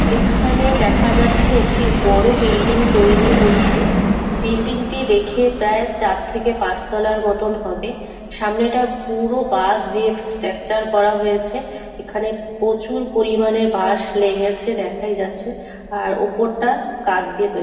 এখানে দেখা যাচ্ছে একটি বড় বিল্ডিং তৈরি হচ্ছে বিল্ডিং -টি দেখে প্রায় চার থেকে পাঁচতলার মতন হবে। সামনেটা পুরো বাঁশ দিয়ে স্ট্রাকচার করা হয়েছে এখানে প্রচুর পরিমানে বাঁশ লেগেছে দেখাই যাচ্ছেআর ওপরটা কাঁচ দিয়ে তৈরী।